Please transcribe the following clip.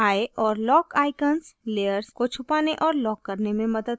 eye और lock icons layers को छुपाने और lock करने में मदद करते हैं